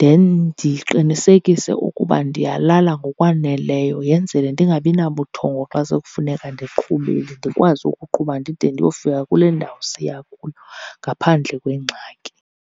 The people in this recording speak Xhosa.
then ndiqinisekise ukuba ndiyalala ngokwaneleyo, yenzele ndingabi nabuthongo xa sekufuneka ndiqhubile, ndikwazi ukuqhuba ndide ndiyofika kule ndawo siya kuyo ngaphandle kwengxaki.